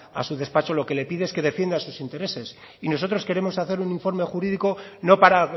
a su despacho lo que le pide es que defienda sus intereses y nosotros queremos hacer un informe jurídico no para